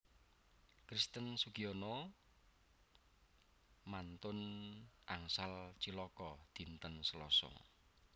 Christian Sugiono mantun angsal cilaka dinten Seloso